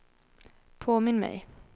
påminn mig